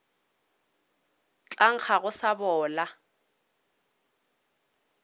tla nkga go sa bola